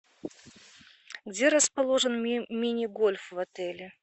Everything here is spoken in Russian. где расположен мини гольф в отеле